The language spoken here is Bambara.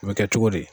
O bɛ kɛ cogo di